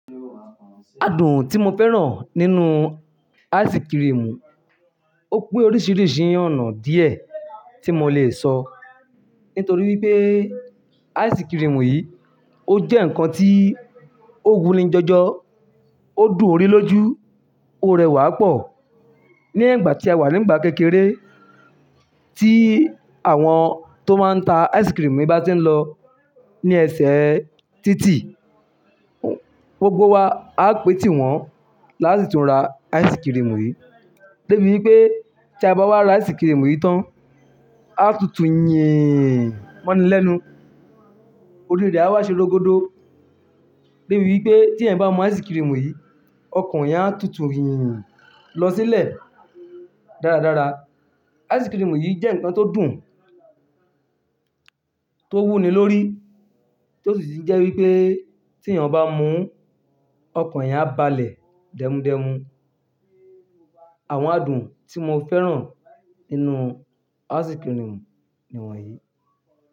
Àádùn tí mo fẹ́ràn nínú ice cream, ó pé oríṣiríṣi ọ̀nà díẹ̀ tí mo lè sọ, nítorí wípé ice cream yìí ó jẹ́ ǹkan tí ó wunì jọjọ, ó dùn orí lójú, ó rẹwà pọ̀. Ní ẹ̀gbà ti a wà nígbà kékeré tí àwọn tó máa ń ta ice cream bá ti ń lọ ní ẹsẹ̀ títì, gbogbo wa á pè tíwọ́n láti tún ra ice cream yìí. Debí wípé tí a bá wá ra ice cream yìí tán, á tutù yéèn mọ́nilẹ́nu, orí rẹ̀ á wá ṣe ológbodo. Débí wípé tí ẹ̀yin bá mú ice cream yìí, ọkàn yín á tutù yèèn lọ sílẹ̀ dáradára. Ice cream yìí jẹ́ ǹkan tó dùn, tó wúni lórí, tó sì jẹ́ wípé tí èèyàn bá mú un, ọkàn yín á balẹ̀ dẹmun dẹmun. Àwọn àádùn tí mo fẹ́ràn nínú ice cream ni wọ̀nyí.